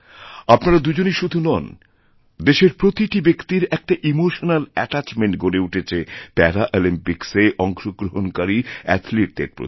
আপনারা দুজনই শুধু নন দেশের প্রতিটি ব্যক্তির একটা ইমোশনাল অ্যাটাচমেন্ট গড়েউঠেছে প্যারাঅলিম্পিক্সে অংশগ্রহণকারী অ্যাথলিটদের প্রতি